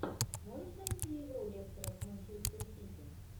можешь найти игру лестера с манчестер сити